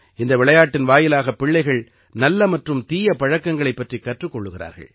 இந்த விளையாட்டின் வாயிலாகப் பிள்ளைகள் நல்ல மற்றும் தீய பழக்கங்களைப் பற்றிக் கற்றுக் கொள்கிறார்கள்